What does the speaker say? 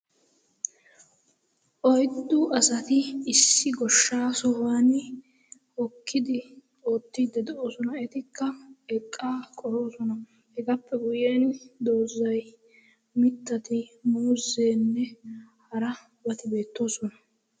oiddu asati issi goshshaa sohuwan okkidi ootti dedoosona etikka eqqa qoroosona hegaappe guyyen doozzai mittati murzzeenne harabati beettoosona.